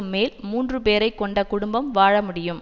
மேல் மூன்று பேரை கொண்ட குடும்பம் வாழமுடியும்